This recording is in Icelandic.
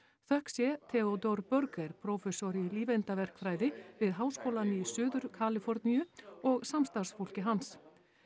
þökk sé Theodore Berger prófessor í við Háskólann í Suður Kaliforníu og samstarfsfólki hans